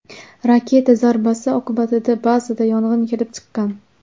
Raketa zarbasi oqibatida bazada yong‘in kelib chiqqan.